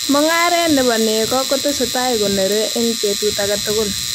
mongaree na bo ne nekoo kutesetai koneere ebg betut age tugul